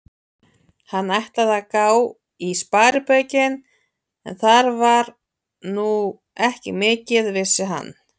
Hann ætlaði að gá í sparibaukinn, en þar var nú ekki mikið, vissi hann.